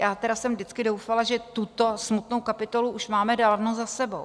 Já tedy jsem vždycky doufala, že tuto smutnou kapitolu už máme dávno za sebou.